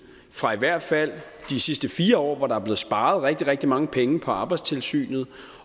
fra i hvert fald de sidste fire år hvor der er blevet sparet rigtig rigtig mange penge på arbejdstilsynet